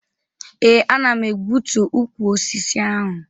Ee, ana m egbutu ukwu osisi ahụ